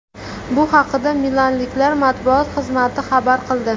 Bu haqida milanliklar matbuot xizmati xabar qildi .